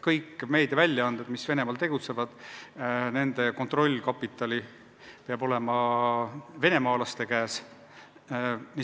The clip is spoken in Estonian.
Kõik meediaväljaanded, kes Venemaal tegutsevad, on sellised, et nende kontrollkapital on venemaalaste käes.